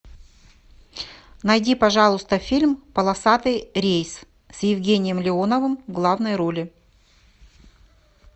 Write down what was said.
найди пожалуйста фильм полосатый рейс с евгением леоновым в главной роли